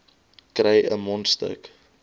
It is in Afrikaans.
kry n mondstuk